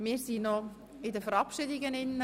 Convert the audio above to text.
Wir sind bei den Verabschiedungen verblieben.